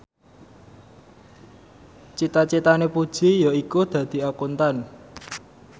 cita citane Puji yaiku dadi Akuntan